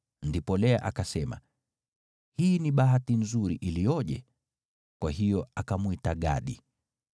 Ndipo Lea akasema, “Hii ni bahati nzuri aje!” Kwa hiyo akamwita Gadi.